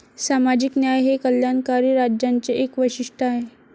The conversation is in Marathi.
सामाजिक न्याय हे कल्याणकारी राज्यांचे एक वैशिष्ट्य आहे.